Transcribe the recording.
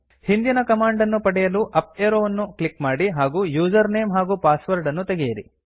ಹಿಂದಿನ ಕಮಾಂಡ್ ಅನ್ನು ಪಡೆಯಲು ಅಪ್ ಏರೋ ವನ್ನು ಕ್ಲಿಕ್ ಮಾಡಿ ಹಾಗೂ ಯೂಸರ್ ನೇಮ್ ಹಾಗೂ ಪಾಸ್ವರ್ಡ್ ಅನ್ನು ತೆಗೆಯಿರಿ